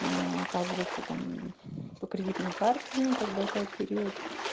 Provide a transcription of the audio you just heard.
оказывается там по кредитной карте ну как бы опять период